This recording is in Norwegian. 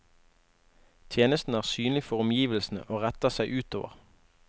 Tjenesten er synlig for omgivelsene og retter seg utover.